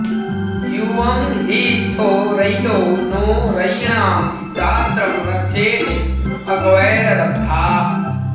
यु॒वं हि स्थो र॑यि॒दौ नो॑ रयी॒णां दा॒त्रं र॑क्षेथे॒ अक॑वै॒रद॑ब्धा